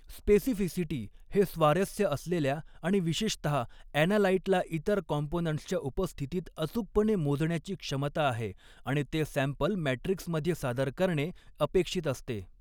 Specificity हे स्वारस्य असलेल्या आणि विशेषतहा ॲनालाइटला इतर कॉम्पोनंट्सच्या उपस्थितीत अचूकपणे मोजण्याची क्षमता आहे आणि ते सॅंपल मॅट्रिक्समध्ये सादर करणे अपेक्षित असते.